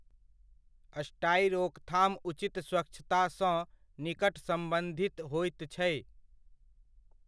स्टाइ रोकथाम उचित स्वच्छतासँ निकट सम्बन्धित होइत छै।